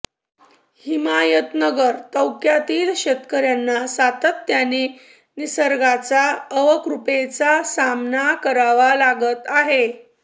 हिमायतनगर तौक्यातील शेतकऱ्यांना सातत्याने निसर्गाचा अवकृपेचा सामना करावा लागत आहे